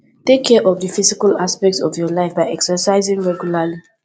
take care of di physical aspect of your life by exercising regularly